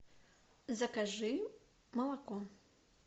закажи молоко